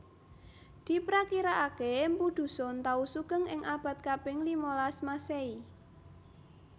Diprakiraake mpu Dusun tau sugeng ing abad kaping limalas Masehi